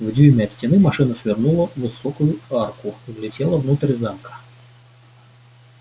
в дюйме от стены машина свернула в высокую арку и влетела внутрь замка